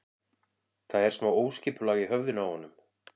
Það er smá óskipulag í höfðinu á honum.